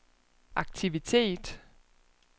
aktivitet